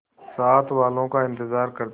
साथ वालों का इंतजार करते